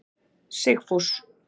Sigfús